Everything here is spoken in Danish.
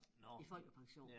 I folkepension